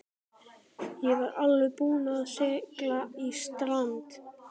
Ég var alveg búinn að sigla í strand.